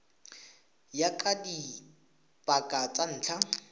ya ka dipaka tsa ntlha